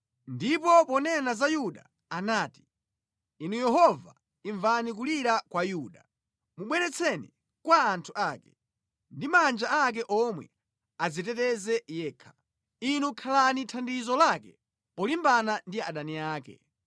Ndipo ponena za Yuda anati: “Inu Yehova, imvani kulira kwa Yuda; mubweretseni kwa anthu ake. Ndi manja ake omwe adziteteze yekha. Inu khalani thandizo lake polimbana ndi adani ake!”